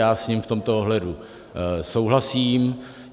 Já s ním v tomto ohledu souhlasím.